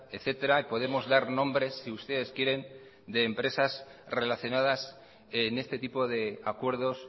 etcétera y podemos dar nombres si ustedes quieren de empresas relacionadas en este tipo de acuerdos